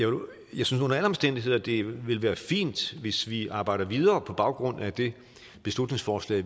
jeg synes under alle omstændigheder det vil være fint hvis vi arbejder videre på baggrund af det beslutningsforslag